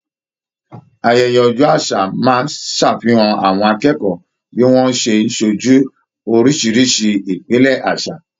Ayẹyẹ ọjọ àṣà máa n ṣàfihàn àwọn akẹ́kọ̀ọ́ bí wọn ṣe n sójú orisirisi ìpìlẹ àṣà.